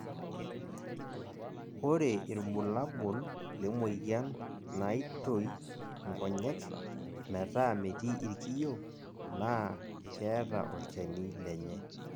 ore irbulabol le moyian naitoi inkonyek metaa metii irkiyio naa keeta olchani lenye